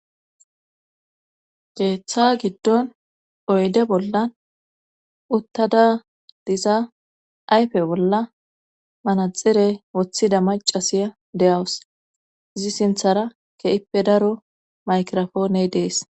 Geeththa giddon oyde bolla uttada diza ayfe bolla manaxire woththida macasiya de'wus izi sinthara ke'ippe daro maykrofooney dees.